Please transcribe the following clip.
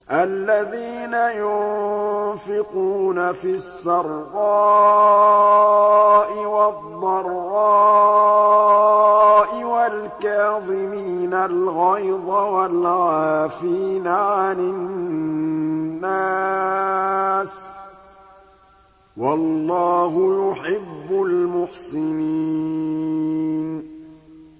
الَّذِينَ يُنفِقُونَ فِي السَّرَّاءِ وَالضَّرَّاءِ وَالْكَاظِمِينَ الْغَيْظَ وَالْعَافِينَ عَنِ النَّاسِ ۗ وَاللَّهُ يُحِبُّ الْمُحْسِنِينَ